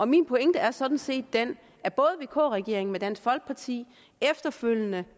min pointe er sådan set den at både vk regeringen med dansk folkeparti og efterfølgende